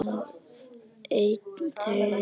Einn þeirra var